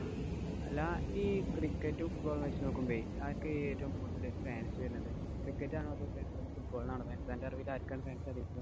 അല്ലാ ഈ cricket ഉം football ഉം വച്ച് നോക്കുമ്പോഴേ ആര്‍ക്കാ ഏറ്റവും കൂടുതല് fans വരണത്. cricket ആണോ fansfootball ഇനാണോ fans. അന്‍റെ അറിവില്‍ ആര്‍ക്കാണ്‌ fans അധികം.